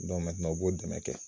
u b'o dɛmɛ kɛ.